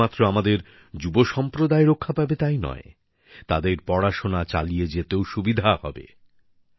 এতে শুধুমাত্র আমাদের যুব সম্প্রদায় রক্ষা পাবে তাই নয় তাদের পড়াশোনাও চালিয়ে যেতে পারবে